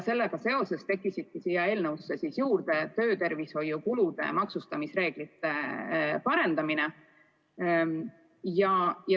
Sellega seoses tekkis eelnõusse juurde töötervishoiuga seotud kulude maksustamise reeglite muutmine.